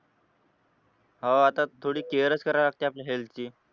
हो आता थोडी care च करावी लागते आपल्या health ची.